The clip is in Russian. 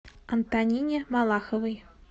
антонине малаховой